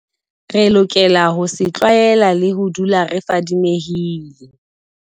Re lokela ho se tlwaela le ho dula re fadimehile.